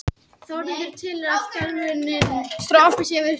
Þá er nýttur sá eiginleiki efnisins að lama vöðva.